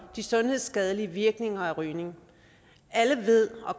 de sundhedsskadelige virkninger af rygning alle ved og